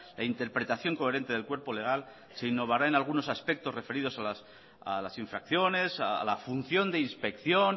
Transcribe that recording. e interpretación coherente del cuerpo legal se innovará en algunos aspectos referidos a las infracciones a la función de inspección